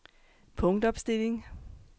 punktopstilling